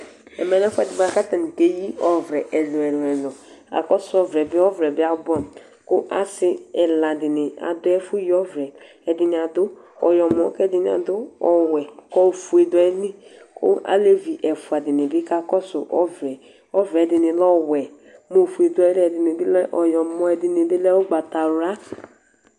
ɛmɛlɛ ɛfuɛ di ku akeɣi ɔʋlɛ ɛluɛlu, akɔsu ɔʋlɛbi la buamu ku asi ɛla dini aɖuɛ ɛfuɛ yi ɔʋlɛ ɛɖini adu ɔyɔmɔ ke ɛɖini adu ɔwɛ ku ofe du ayili olevi ɛfua ɖini bi akɔsu ɔʋlɛ ɔʋlɛ ɖini lɛ ɔwɛ ɖini bi lɛ ukpataʋlua